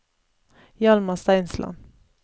Hjalmar Steinsland